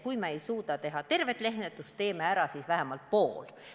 Kui me ei suuda teha tervet rehkendust, teeme ära siis vähemalt poole.